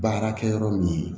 Baarakɛ yɔrɔ min ye